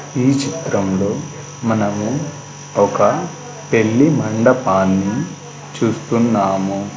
ఈ చిత్రం లో మనము ఒక పెళ్లి మండపాన్ని చూస్తున్నాము.